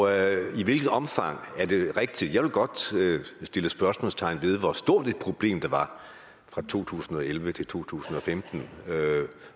i hvilket omfang er det rigtig jeg vil godt sætte et spørgsmålstegn ved hvor stort et problem det var fra to tusind og elleve til to tusind og femten